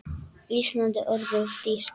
Ísland er orðið of dýrt.